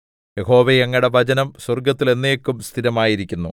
യഹോവേ അങ്ങയുടെ വചനം സ്വർഗ്ഗത്തിൽ എന്നേക്കും സ്ഥിരമായിരിക്കുന്നു